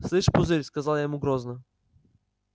слышишь пузырь сказала я ему грозно